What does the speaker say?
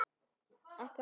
þá fögru steina.